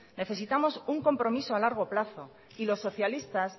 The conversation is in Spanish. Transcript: necesitamos un compromiso a largo plazo y los socialistas